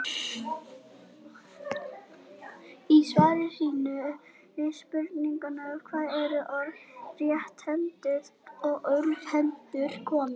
Í svari sínu við spurningunni Hvaðan eru orðin rétthentur og örvhentur komin?